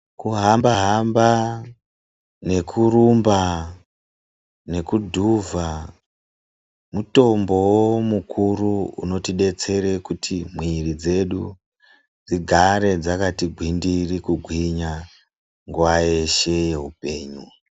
Kuhamba hamba nekurumba nekudhuvha mitombo wo mukuru inotidetsera kuti mwiri yedu dzigare dzakati gwindiri kugwinya nguwa yeshe yeupenyu.